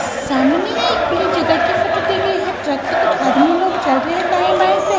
सामने में एक खुली जगह की फोटो दी गई है ट्रक है कुछ आदमी लोग चढ़ रहे हैं दाएं बाएं से।